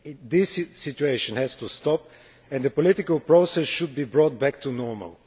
This situation has to stop and the political process should be brought back to normal.